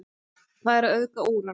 Hvað er að auðga úran?